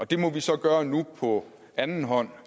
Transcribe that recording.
det må vi så gøre nu på anden hånd